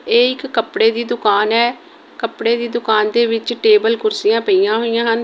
ਇਹ ਇੱਕ ਕੱਪੜੇ ਦੀ ਦੁਕਾਨ ਹੈ ਕੱਪੜੇ ਦੀ ਦੁਕਾਨ ਦੇ ਵਿਚ ਟੇਬਲ ਕੁਰਸਿਆਂ ਪਈਆਂ ਹੋਇਆ ਹਨ। ਇਹ ਇੱਕ ਕੱਪੜੇ ਦੀ ਦੁਕਾਨ ਹੈ ਕੱਪੜੇ ਦੀ ਦੁਕਾਨ ਦੇ ਵਿਚ ਟੇਬਲ ਕੁਰਸਿਆਂ ਪਈਆਂ ਹੋਇਆ ਹਨ।